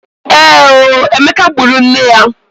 Èé o! Emeka gburu nne ya.